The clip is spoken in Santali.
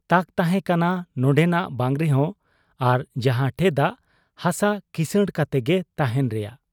ᱛᱟᱠ ᱛᱟᱦᱮᱸ ᱠᱟᱱᱟ ᱱᱚᱱᱰᱮᱱᱟᱜ ᱵᱟᱝ ᱨᱮᱦᱚᱸ ᱟᱨ ᱡᱟᱦᱟᱸ ᱴᱷᱮᱫᱟᱜ ᱦᱟᱥᱟ ᱠᱤᱥᱟᱹᱬ ᱠᱟᱛᱮᱜᱮ ᱛᱟᱦᱮᱸᱱ ᱨᱮᱭᱟᱜ ᱾